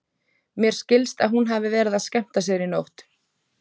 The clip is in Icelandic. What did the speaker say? Mér skilst að hún hafi verið að skemmta sér í nótt.